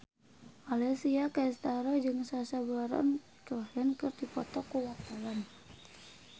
Alessia Cestaro jeung Sacha Baron Cohen keur dipoto ku wartawan